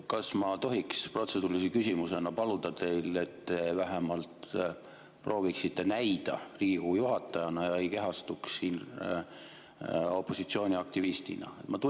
Kas ma tohiks protseduurilise küsimusena paluda teilt seda, et te vähemalt prooviksite näida Riigikogu juhatajana ega kehastuks siin opositsiooni aktivistiks?